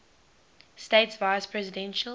states vice presidential